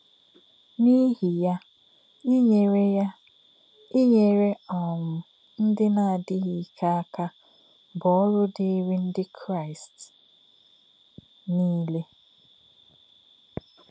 N’íhì̄ yá̄, ínyèrè̄ yá̄, ínyèrè̄ um ndí̄ nā̄-ádí̄ghí̄ íkè̄ ákà̄ bụ́ ọ́rụ́ dì̄írí̄ Ndí̄ Kraị́st nílé̄.